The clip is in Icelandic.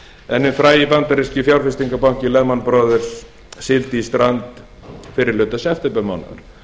en hinn frægi bandaríski fjárfestingabanki lehman brothers sigldi í strand fyrri hluta septembermánaðar